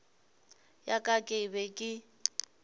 ya ka ke be ke